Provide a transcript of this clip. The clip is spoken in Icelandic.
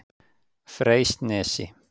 Freysnesi